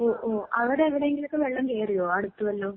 ഉവ്വ് ഉവ്വ്, അവിടെ എവിടേങ്കിലൊക്കെ വെള്ളം കേറിയോ അടുത്ത് വല്ലോം?